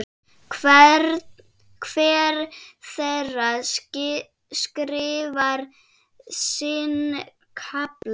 Hver þeirra skrifar sinn kafla.